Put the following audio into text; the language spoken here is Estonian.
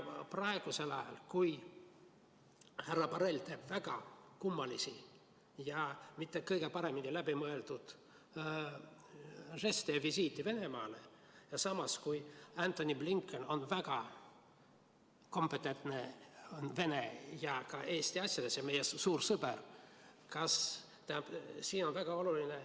Praegusel ajal, kui härra Borrell teeb väga kummalisi ja mitte kõige paremini läbimõeldud žeste ja visiite Venemaale, samas kui Antony Blinken on väga kompetentne Vene ja ka Eesti asjades, ta on meie suur sõber, on väga oluline ...